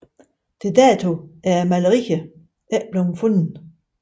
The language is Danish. Til dato er malerierne ikke blevet fundet